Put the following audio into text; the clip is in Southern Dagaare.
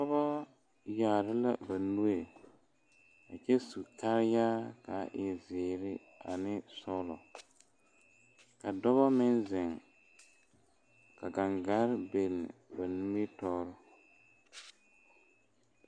Pɔɔ yaare la ba nue kyɛ su kaayaa kaa e zeere ane sɔglɔ ka dɔbɔ meŋ zeŋ ka gaŋgarre biŋ ba nimitoore.